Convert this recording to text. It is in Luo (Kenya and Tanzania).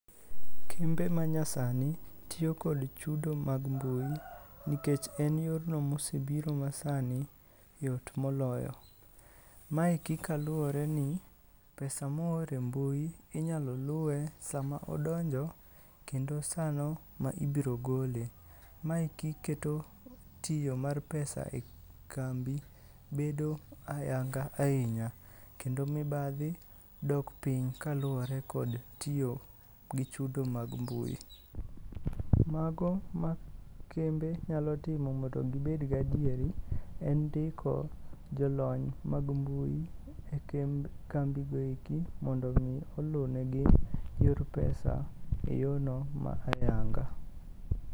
Kembe manyasani tiyo kod chudo mag mbui nikech en yorno mosebiro masani yot moloyo. Maeki kaluworeni pesa moor e mbui inyalo luwe sama odonjo kendo sano ma ibrogole. Maeki keto tiyo mar pesa e kambi[ bedo ayanga ahinya, kendo mibadhi dok piny kaluwore kod tiyo gi chudo mag mbui. Mago ma kembe nyalo timo mondo gibed gadieri, en ndiko jolony mag mbui e kambigo eki mondo omi olunegi yor pesa e yono ma ayanga.